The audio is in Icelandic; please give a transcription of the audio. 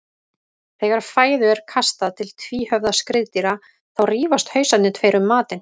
Þegar fæðu er kastað til tvíhöfða skriðdýra þá rífast hausarnir tveir um matinn.